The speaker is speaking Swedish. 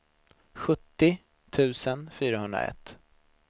sjuttio tusen fyrahundraett